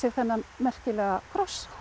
þennan merkilega kross